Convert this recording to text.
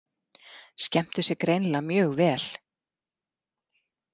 Skemmtu sér greinilega mjög vel.